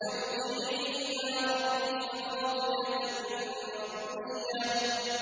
ارْجِعِي إِلَىٰ رَبِّكِ رَاضِيَةً مَّرْضِيَّةً